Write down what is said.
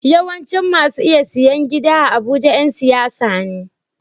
Yawancin masu iya siyan gida a abuja Yan siyasa ne